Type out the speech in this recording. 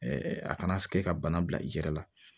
a kana se ka bana bila i yɛrɛ la